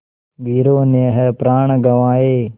वीरों ने है प्राण गँवाए